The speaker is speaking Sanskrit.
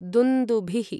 दुन्दुभिः